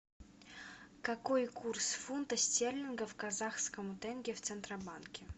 какой курс фунта стерлингов к казахскому тенге в центробанке